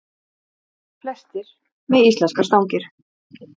Þar, sunnanvert við